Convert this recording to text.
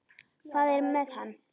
Hvað er með hann?